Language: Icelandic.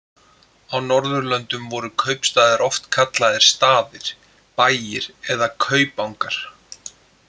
Á Norðurlöndum voru kaupstaðir oft kallaðir staðir, bæir eða kaupangar.